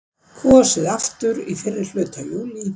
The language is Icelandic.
Kosið aftur í fyrrihluta júlí